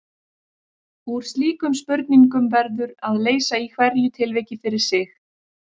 Úr slíkum spurningum verður að leysa í hverju tilviki fyrir sig.